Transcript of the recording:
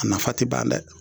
A nafa tɛ ban dɛ